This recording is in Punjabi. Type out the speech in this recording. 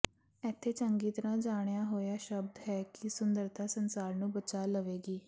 ਇੱਥੇ ਚੰਗੀ ਤਰ੍ਹਾਂ ਜਾਣਿਆ ਹੋਇਆ ਸ਼ਬਦ ਹੈ ਕਿ ਸੁੰਦਰਤਾ ਸੰਸਾਰ ਨੂੰ ਬਚਾ ਲਵੇਗੀ